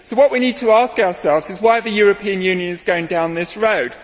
What we need to ask ourselves is why the European Union is going down this road.